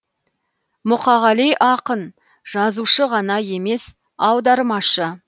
мұқағали ақын жазушы ғана емес аудармашы